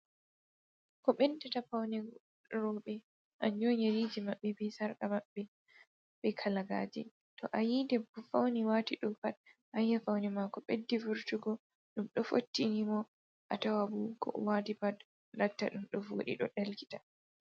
Ko beddata paune rewɓe kanjuum on yerji maɓɓe, be kalagaje, to ayi debbo fauni wati ɗo pat ayi'a paune mako ɓeddi wurtugo ,ɗum ɗoo fottinimo ,atawa boo ko owati pat latta, ɗum ɗo woɗi ɗum ɗoo ɗelkita.